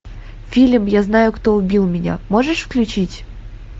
фильм я знаю кто убил меня можешь включить